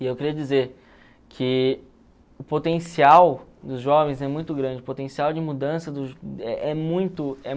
E eu queria dizer que o potencial dos jovens é muito grande, o potencial de mudança é é muito